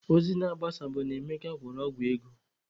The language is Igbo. Ozi na-agbasa bụ na Emeka gwọrọ ọgwụ ego